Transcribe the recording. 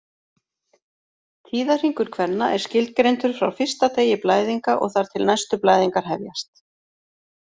Tíðahringur kvenna er skilgreindur frá fyrsta degi blæðinga og þar til næstu blæðingar hefjast.